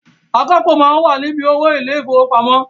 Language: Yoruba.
Akápò máa ń wà ni bí owó ilé ìfowópamọ́